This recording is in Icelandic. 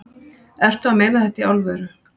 Ertu að meina þetta í alvöru?